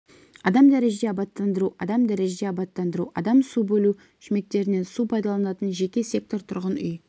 адам дәрежеде абаттандыру адам дәрежеде абаттандыру адам су бөлу шүмектерінен су пайдаланатын жеке сектор тұрғын үй